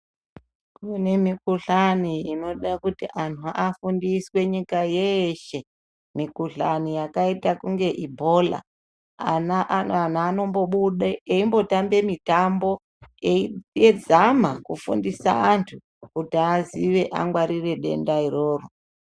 Kune mikuhlani inoda kuti antu afundiswe nyika yeshe mukuhlani yakaita kunga ibhola. Ana a antu anombobude eibhotambe mitambo eizama kufundisa antu kuti aziye angwarire denda iroro.